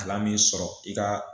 Kalan min sɔrɔ i ka